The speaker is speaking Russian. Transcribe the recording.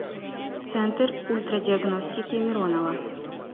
центр ультрадиагностики миронова